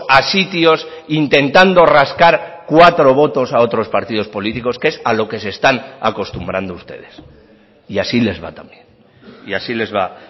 a sitios intentando rascar cuatro votos a otros partidos políticos que es a lo que se están acostumbrando ustedes y así les va también y así les va